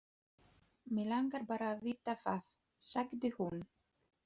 Mig langar bara að vita það, sagði hún.